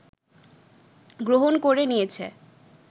গ্রহণ করে নিয়েছে